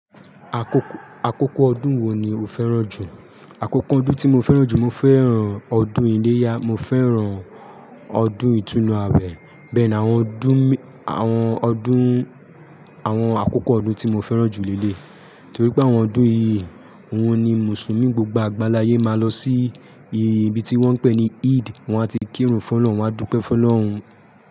Àkókò ọdún wo ni o fẹ́ràn jù? Àkókò ọdún tí mo fẹ́ràn jù, mo fẹ́ràn ọdún iléyá, mo fẹ́ràn ọdún ìtúnu àwẹ̀. Bẹ́ẹ̀ni àwọn ọdún, àwọn ọdún, àwọn àkókò ọdún tí mo fẹ́ràn jù léleyi torí pé àwọn ọdún yìíí, òhun ni Mùsùlùmí gbogbo àgbánlá ayé máa lọ sí ibi tí wọ́n ń pè ní Eid. Wọ́n a ti kírun fún Ọlọ́run, wọ́n á dúpẹ́ fún Ọlọ́run.